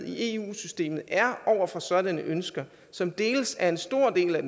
i eu systemet over for sådanne ønsker som deles af en stor del af